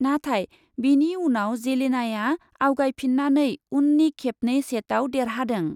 नाथाय बेनि उनाव जेलेनाआ आवगायफिन्नानै उननि खेबनै सेटआव देरहादों ।